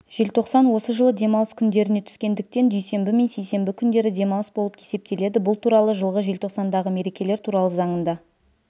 желтоқсан осы жылы демалыс күндеріне түскендіктен дүйсенбі мен сейсенбі күндері демалыс болып есептеледі бұл туралы жылғы желтоқсандағы мерекелер туралы заңында